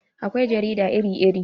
Akwai jarida iri iri